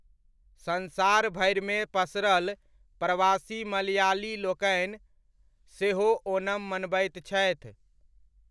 संसार भरिमे पसरल प्रवासी मलयालीलोकनि सेहो ओणम मनबैत छथि।